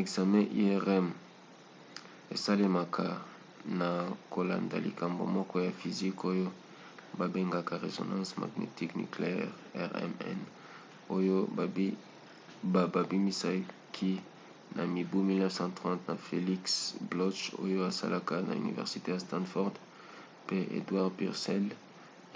ekzame irm esalemaka na kolanda likambo moko ya physique oyo babengaka résonance magnétique nucléaire rmn oyo babimisaki na mibu 1930 na felix bloch oyo asalaka na université ya stanford pe edward purcell